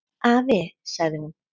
"""Afi, sagði hún."""